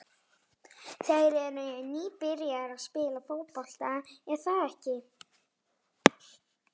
Þeir eru nýbyrjaðir að spila fótbolta, er það ekki?